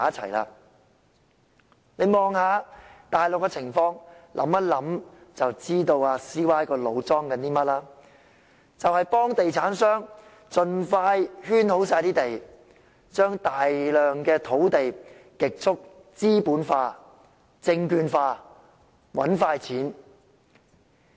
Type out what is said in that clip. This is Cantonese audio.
大家看看大陸的情況後想一想，便知道 CY 的腦袋想些甚麼，便是盡快替地產商圈劃全部土地，把大量土地極速資本化、證券化來"搵快錢"。